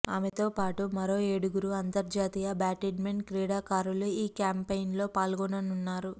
ఆమెతో పాటు మరో ఏడుగురు అంతర్జాతీయ బ్యాడ్మింటన్ క్రీడాకారులు ఈ క్యాంపెయిన్లో పాల్గొననున్నారు